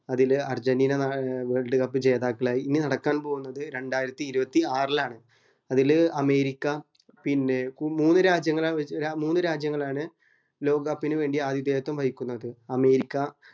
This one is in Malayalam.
അതില് അർജന്റീന ഏർ world cup ജേതാക്കളായി ഇനി നടക്കാൻ പോകുന്നത് രണ്ടായിരത്തി ഇരുവത്തി ആറിലാണ് അതില് അമേരിക്ക പിന്നെ മൂന്നു രാജ്യങ്ങളാ വാ മൂന്നു രാജ്യങ്ങളാണ് ലോക cup ന് വേണ്ടി ആതിഥേയത്വം വഹിക്കുന്നത് അമേരിക്ക